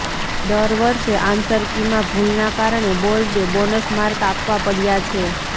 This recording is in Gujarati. દર વર્ષે આન્સર કીમાં ભૂલના કારણે બોર્ડે બોનસ માર્ક આપવા પડયાં છે